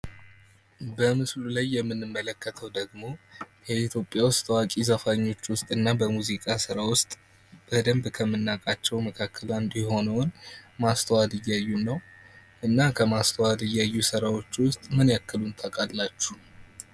በምስሉ ላይ የምንመለከተው ደሞ የኢትዮጵያ ዉስጥ ታዋቂ ዘፋኞች ዉስጥ እና በሙዚቃ ስራ ዉስጥ በደንብ ከምናቃቸው ዉስጥ አንዱ የሆነውን ማስተዋል እያዩን ነው። እና ከማስተዋል እያዩ ስራዎች ዉስጥ ምን ያህሉን ታቃላችሁ?